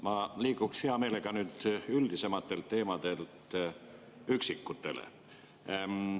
Ma liiguks nüüd hea meelega üldisematelt teemadelt üksikutele.